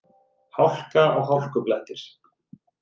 Hálka og hálkublettir